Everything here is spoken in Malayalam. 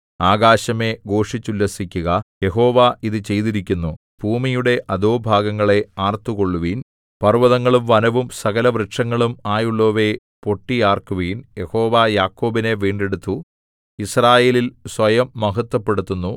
ആകാശമേ ഘോഷിച്ചുല്ലസിക്കുക യഹോവ ഇതു ചെയ്തിരിക്കുന്നു ഭൂമിയുടെ അധോഭാഗങ്ങളേ ആർത്തുകൊള്ളുവിൻ പർവ്വതങ്ങളും വനവും സകലവൃക്ഷങ്ങളും ആയുള്ളോവയേ പൊട്ടിയാർക്കുവിൻ യഹോവ യാക്കോബിനെ വീണ്ടെടുത്തു യിസ്രായേലിൽ സ്വയം മഹത്ത്വപ്പെടുത്തുന്നു